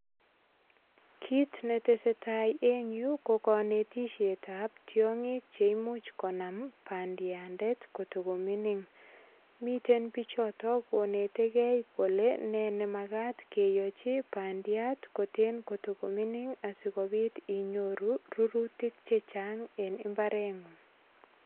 Kit ne tesetai en yu ko kanetisyetab, tiongik che imuch konam bandiandet ko tago mining. Miten bichoto konetegei kole nemagat koyochi bandiat koten kotago mining asigopit inyoru rurutik che chang en imbarengung.